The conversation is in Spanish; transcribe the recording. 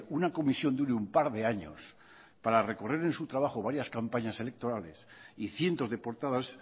una comisión dure un par de años para recorrer en su trabajo varias campañas electorales y cientos de portadas